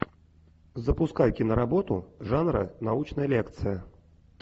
запускай киноработу жанра научная лекция